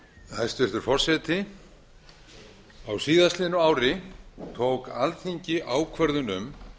hæstvirtur forseti á síðastliðnu ári tók alþingi ákvörðun um